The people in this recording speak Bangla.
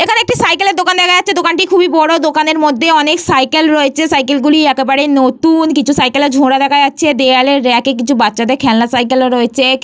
এখানে একটি সাইকেল -এর দোকান দেখা যাচ্ছে দোকান কি খুবই বড় দোকানের মধ্যে অনেক সাইকেল রয়েছে সাইকেল -গুলি একেবারে নতুন কিছু সাইকেল -এর ঝরা দেখা যাচ্ছে দেয়ালে রেখে কিছু বাচ্চাদের খেলনা সাইকেল -ও রয়েছে।